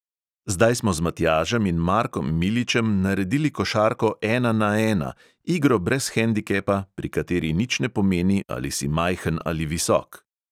Zdaj smo z matjažem in markom miličem naredili košarko "ena na ena", igro brez hendikepa, pri kateri nič ne pomeni, ali si majhen ali visok.